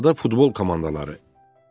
Adada futbol komandaları.